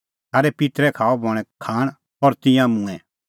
थारै पित्तरै खाअ बणैं खाण और तिंयां मूंऐं